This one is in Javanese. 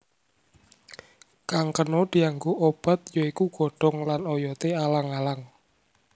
Kang kena dianggo obat ya iku godhong lan oyoté alang alang